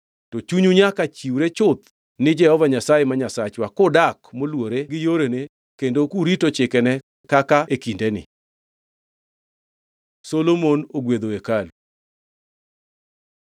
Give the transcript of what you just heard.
To chunyu nyaka chiwre chuth ni Jehova Nyasaye ma Nyasachwa kudak moluwore gi yorene kendo kurito chikene kaka e kindeni.” Solomon ogwedho hekalu